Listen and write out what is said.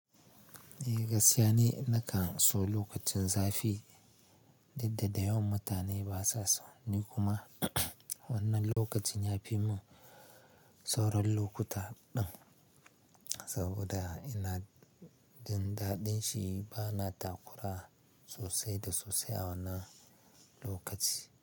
Eh gaskiya ni nakan so lokacin zafi, duk da da yawan mutane basa so. Ni kuma wannan lokacin yafi mun sauran lokuta din, saboda ina jin daɗin shi bana taƙura sosai da sosai a wannan lokaci.